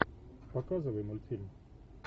показывай мультфильм